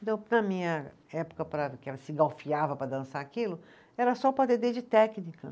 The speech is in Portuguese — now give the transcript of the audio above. Então, na minha época, que ela se engalfinhava para dançar aquilo, era só o padedê de técnica.